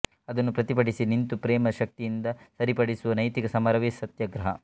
ಅದನ್ನು ಪ್ರತಿಭಟಿಸಿ ನಿಂತು ಪ್ರೇಮ ಶಕ್ತಿಯಿಂದ ಸರಿಪಡಿಸುವ ನೈತಿಕ ಸಮರವೇ ಸತ್ಯಾಗ್ರಹ